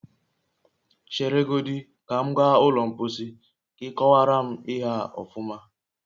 Chere godi ka m gaa ụlọ mposi ka ị kowara m ihe a ọfuma